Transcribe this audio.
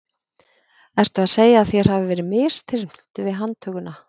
Ertu að segja að þér hafi verið misþyrmt við handtökuna?